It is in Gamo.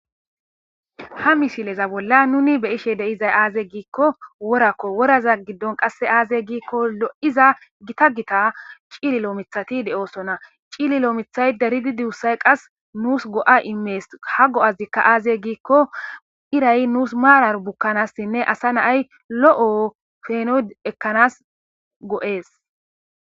ha mishileza bolla nuni beyishe deizay aaze giikko worakko woraza giddon qasse aaze giikko lo7iza gita gita ciililo mithati de7oosona ciili loo mithay daridi duussay qas nuus go7a immees ha go7azikka aaze giikko iray nuus maarar bukkanassinne asa naay lo7o feeno ekkanas go7ees